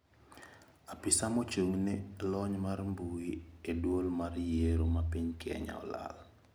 Apisa mochung`ne lony mar mbui e duol mar yiero ma piny Kenya olal.